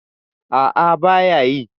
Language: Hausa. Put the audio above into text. A'a ba ya yi.